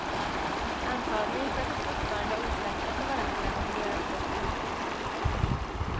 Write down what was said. Antagligen för att de fortfarande är osäkra på varandra och vill göra ett gott intryck.